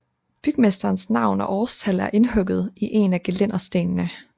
Bygmesterens navn og årstal er indhugget i en af gelænderstenene